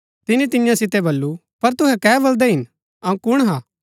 तिनी तियां सितै बल्लू पर तुहै कै बलदै हिन अऊँ कुण हा